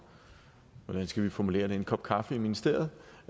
hvordan skal vi formulere det en kop kaffe i ministeriet